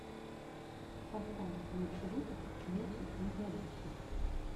поставь лучший выпуск ночи на кладбище